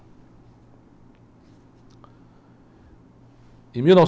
Em mil nove.